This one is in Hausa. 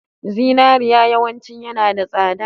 Zinariya yawanci yanada tsada